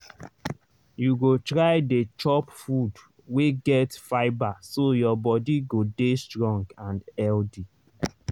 you go try dey chop food wey get fibre so your body go dey strong and healthy.